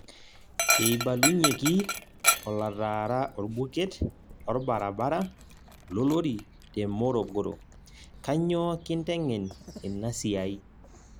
Eibalunyieki olotaara orbuket lorbarabara lolori te Morogoro; kanyoo kinteng'en ina siai